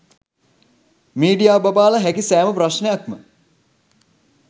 media බබාලා හැකි සෑම ප්‍රශ්ණයක්ම